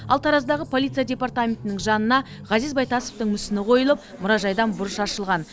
ал тараздағы полиция департаментінің жанына ғазиз байтасовтың мүсіні қойылып мұражайдан бұрыш ашылған